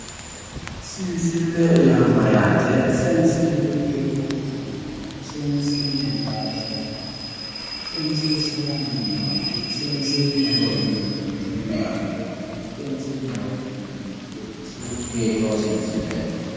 Seensille yaa mayyaate seensillu hiikkoti afaminohu seensilleho yaa ise maati seesiinsayhuno maati seensilleho yineemmo woyte me"ewa beehamanno seensilleho yineemmo woyte isi hiittoo seensilleeti